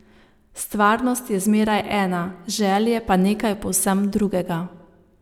Stvarnost je zmeraj ena, želje pa nekaj povsem drugega.